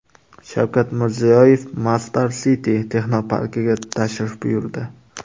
Shavkat Mirziyoyev Masdar City texnoparkiga tashrif buyurdi.